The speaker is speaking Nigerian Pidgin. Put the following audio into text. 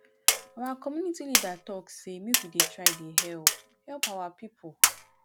our community leader talk say make we dey try dey help help our people